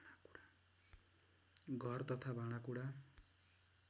घर तथा भाँडाकुडा